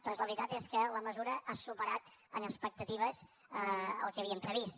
doncs la veritat és que la mesura ha superat en expectatives el que havíem previst